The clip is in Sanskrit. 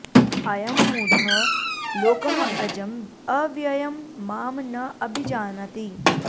अयम् मूढः लोकः अजम् अव्ययम् माम् न अभिजानाति